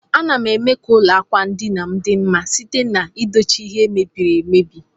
Anam eme ka ụlọ akwandinam di mma site na edochi ihe ndi mebiri emebi.